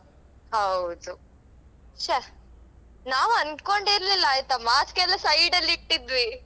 ಹೌದು ಛೆ ನಾವ್ ಅಂದ್ಕೊಂಡೆ ಇರ್ಲಿಲ್ಲ ಆಯ್ತಾ mask ಎಲ್ಲಾ side ಅಲ್ಲಿ ಇಟ್ಟಿದ್ವಿ.